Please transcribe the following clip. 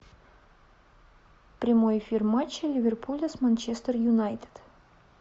прямой эфир матча ливерпуля с манчестер юнайтед